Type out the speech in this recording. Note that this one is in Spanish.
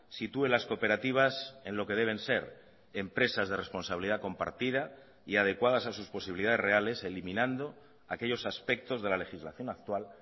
sitúe las cooperativas en lo que deben ser empresas de responsabilidad compartida y adecuadas a sus posibilidades reales eliminando aquellos aspectos de la legislación actual